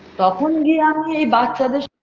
তখন গিয়ে আমি এই বাচ্চাদের স~